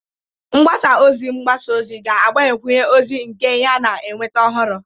mgbasa ozi mgbasa ozi ga-agbakwunye ozi nke ya na ịnweta ọhụrụ